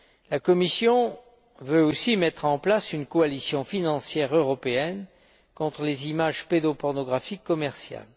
La Commission veut aussi mettre en place une coalition financière européenne contre les images pédopornographiques commerciales.